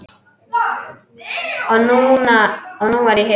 Og nú er ég hér!